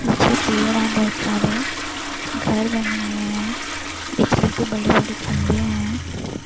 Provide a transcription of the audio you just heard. पीछे पेड़ है बोहत सारे घर बने हुए है बिजली के बड़े-बड़े खंभे हैं।